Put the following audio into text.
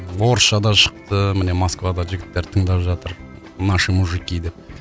орысша да шықты міне москвада жігіттер тыңдап жатыр наши мужики деп